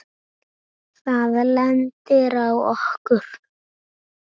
Það lendir á okkur.